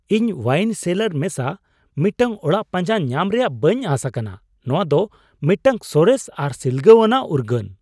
ᱤᱧ ᱳᱣᱟᱭᱤᱱ ᱥᱮᱞᱟᱨ ᱢᱮᱥᱟ ᱢᱤᱫᱴᱟᱝ ᱚᱲᱟᱜ ᱯᱟᱸᱡᱟ ᱧᱟᱢ ᱨᱮᱭᱟᱜ ᱵᱟᱹᱧ ᱟᱸᱥ ᱟᱠᱟᱱᱟ ᱼ ᱱᱚᱶᱟ ᱫᱚ ᱢᱤᱫᱴᱟᱝ ᱥᱚᱨᱮᱥ ᱟᱨ ᱥᱤᱞᱜᱟᱹᱣᱟᱱᱟᱜ ᱩᱨᱜᱟᱹᱱ ᱾